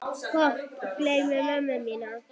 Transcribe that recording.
Gott geymi mömmu mína.